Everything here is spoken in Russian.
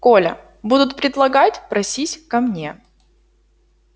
коля будут предлагать просись ко мне